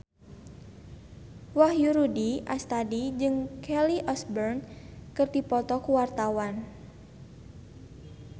Wahyu Rudi Astadi jeung Kelly Osbourne keur dipoto ku wartawan